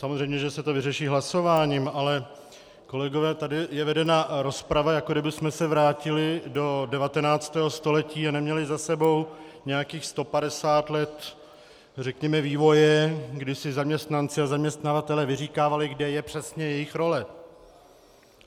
Samozřejmě že se to vyřeší hlasováním, ale kolegové, tady je vedena rozprava, jako kdybychom se vrátili do 19. století a neměli za sebou nějakých 150 let řekněme vývoje, kdy si zaměstnanci a zaměstnavatelé vyříkávali, kde je přesně jejich role.